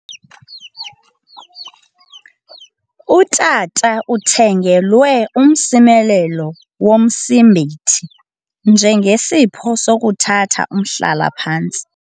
Utata uthengelwe umsimelelo womsimbithi njengesipho sokuthatha umhlala-phantsi